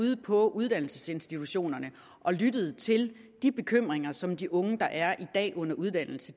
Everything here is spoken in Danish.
ude på uddannelsesinstitutionerne og lyttet til de bekymringer som de unge der i dag er under uddannelse